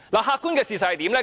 客觀的事實是怎樣呢？